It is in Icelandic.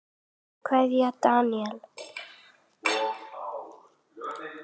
Kveðja, Daníel.